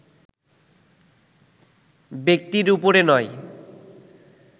ব্যক্তির উপরে নয়